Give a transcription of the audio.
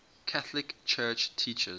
catholic church teaches